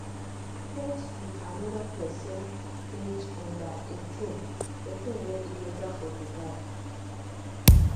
sex wit anoda pesin age under 18 18 dey illegal for dubai